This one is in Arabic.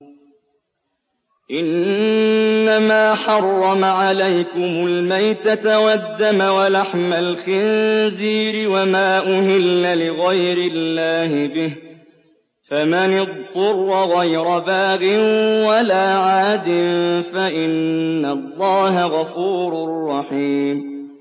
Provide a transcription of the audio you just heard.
إِنَّمَا حَرَّمَ عَلَيْكُمُ الْمَيْتَةَ وَالدَّمَ وَلَحْمَ الْخِنزِيرِ وَمَا أُهِلَّ لِغَيْرِ اللَّهِ بِهِ ۖ فَمَنِ اضْطُرَّ غَيْرَ بَاغٍ وَلَا عَادٍ فَإِنَّ اللَّهَ غَفُورٌ رَّحِيمٌ